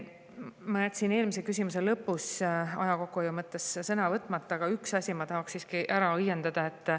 Ma jätsin eelmise küsimuse lõpus aja kokkuhoiu mõttes sõna võtmata, aga on üks asi, mille ma tahan siiski ära õiendada.